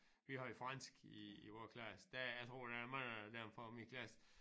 Vi havde fransk i i vore klasse der jeg tror der er mange af dem fra min klasse